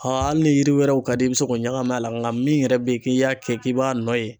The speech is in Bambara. Aa ali ni yiri wɛrɛw ka di i ye i be se k'o ɲagami a la nka min yɛrɛ be yen k'e y'a kɛ k'e b'a nɔ ye